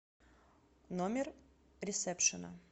номер ресепшена